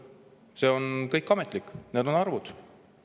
See on kõik ametlik, need on arvud.